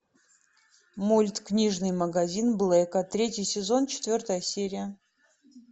мульт книжный магазин блэка третий сезон четвертая серия